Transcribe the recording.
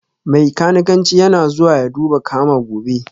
Mai kanikanci yana zuwa ya duba kama gobe